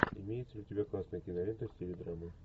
имеется ли у тебя классная кинолента в стиле драма